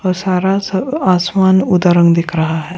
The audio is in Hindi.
और सारा सब आसमान उदा रंग दिख रहा है।